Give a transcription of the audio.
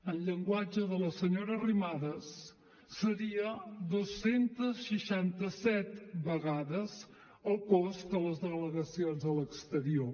en llenguatge de la senyora arrimadas seria dos cents i seixanta set vegades el cost de les delegacions a l’exterior